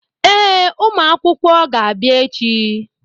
Ee, ụmụ akwụkwọ ga-abịa echi.